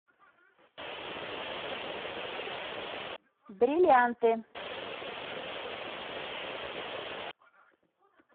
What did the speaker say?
бриллианты